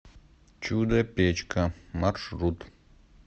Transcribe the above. чудо печка маршрут